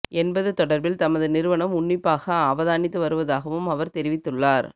என்பது தொடர்பில் தமது நிறுவனம் உன்னிப்பாக அவதானித்து வருவதாகவும் அவர் தெரிவித்துள்ளார்